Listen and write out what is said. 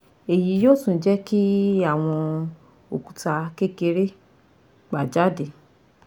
Eyi yoo tun je ki awon okuta kekere gba jade